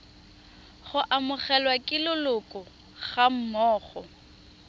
go amogelwa ke leloko gammogo